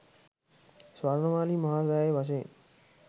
ස්වර්ණමාලි මහා සෑය වශයෙන්